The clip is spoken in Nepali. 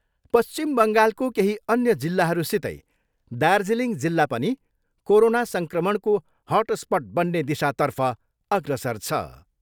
पश्चिम बङ्गालको केही अन्य जिल्लाहरूसितै दार्जिलिङ जिल्ला पनि कोरोना सङ्क्रमणको हटस्पट बन्ने दिशातर्फ अग्रसर छ।